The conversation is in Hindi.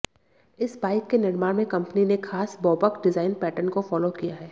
इस बाइक के निर्माण में कंपनी ने खास बॉबक डिजाइन पैटर्न को फॉलो किया है